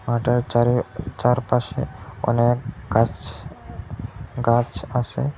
মাঠের চারে চারপাশে অনেক গাছ গাছ আসে।